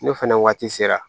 N'o fɛnɛ waati sera